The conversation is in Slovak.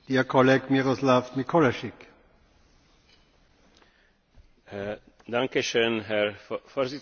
Všeobecne známym faktom je, že železničná doprava patrí medzi najbezpečnejšie spôsoby dopravy v EÚ.